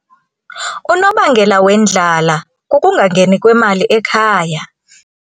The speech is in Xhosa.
Unobangela wendlala kukungangeni kwemali ekhaya.